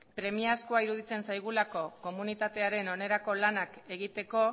premiazkoa iruditzen zaigulako komunitatearen onerako lanak egiteko